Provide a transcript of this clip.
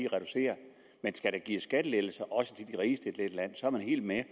reducere men skal der gives skattelettelser også til de rigeste i dette land er man helt med